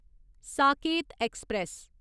Saket express